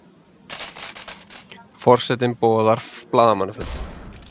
Forsetinn boðar blaðamannafund